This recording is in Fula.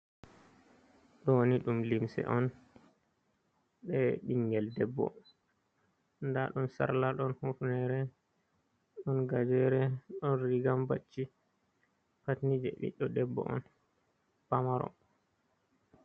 Doni dum limse on be bingel debbo, dadum sarla don hufnere don gajere don rigambacci patni je ɓiɗdo debbo on pamaro.